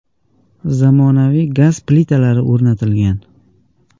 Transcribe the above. Zamonaviy gaz plitalari o‘rnatilgan.